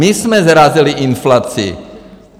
My jsme srazili inflaci!